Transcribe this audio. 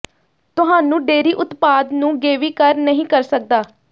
ਤੁਹਾਨੂੰ ਡੇਅਰੀ ਉਤਪਾਦ ਨੂੰ ਗੇਵੀ ਕਰ ਨਹੀ ਕਰ ਸਕਦਾ ਹੈ